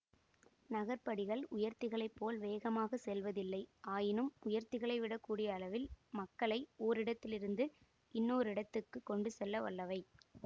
நகர்படிகள் உயர்த்திகளைப் போல் வேகமாக செல்வதில்லை ஆயினும் உயர்த்திகளைவிடக் கூடிய அளவில் மக்களை ஓரிடத்திலிருந்து இன்னோரிடத்துக்குக் கொண்டு செல்ல வல்லவை